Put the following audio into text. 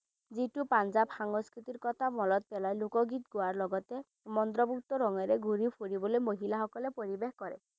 যিটো পাঞ্জাব সংস্কৃিতিৰ কথা মনত পেলাই লোকগীত গোৱাৰ লগতে মন্ত্ৰমুগ্ধ মনেৰে ঘূৰি ফুৰিবলে মহিলাসকলে পৰিৱেশ কৰে।